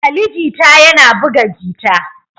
Ali Jita yana buga jita